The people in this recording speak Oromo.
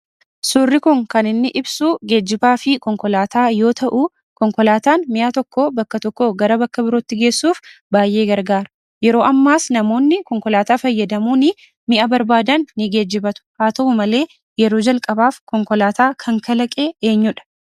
Suurri kun kan inni ibsuu geejjibaa fi konkolaataa yoo ta'uu konkolaataan mi'a tokkoo bakka tokkoo gara bakka birootti geessuuf baay'ee gargaara. Yeroo ammaas namoonni konkolaataa fayyadamuunii mi'a barbaadan ni geejjibatu. Haa ta'u malee yeroo jalqabaaf konkolaataa kan kalaqe eenyudha?